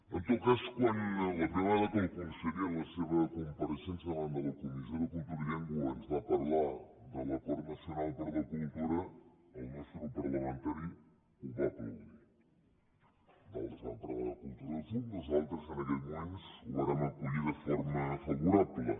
en tot cas la primera vegada que el conseller en la seva compareixença davant de la comissió de cultura i llengua ens va parlar de l’acord nacional per la cultura el nostre grup parlamentari ho va aplaudir d’altres van parlar de cultura de fum nosaltres en aquell moment ho vàrem acollir de forma favorable